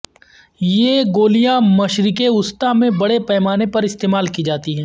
یہ گولیاں مشرق وسطی میں بڑے پیمانے پر استعمال کی جاتی ہیں